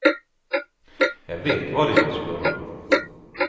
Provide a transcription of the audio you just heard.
Jeg vet hva de vil spørre om.